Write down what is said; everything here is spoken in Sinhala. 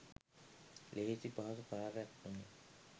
ලෙහෙසි පහසු කාර්යයක් නොවේ.